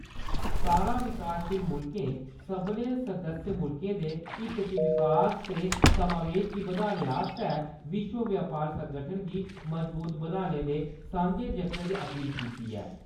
सतारां विकासशील मुल्खें सब्भनें सदस्य मुल्खें दे हित च विकास ते समावेश गी बधाने आस्तै विश्व बपार संगठन गी मजबूत बनाने दे सांझे जतनें दी अपील कीती ऐ।